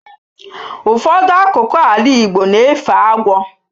Ụfọdụ akụkụ ala igbo na-efe agwọ